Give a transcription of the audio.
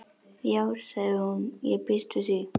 Já sagði hún, ég býst við því